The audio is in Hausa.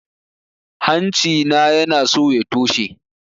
Hanci na yanaso ya toshe